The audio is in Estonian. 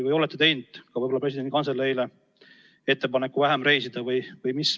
Võib-olla oletegi juba teinud Vabariigi Presidendi Kantseleile ettepaneku vähem reisida?